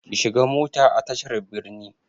Ki shiga mota a tashar birni!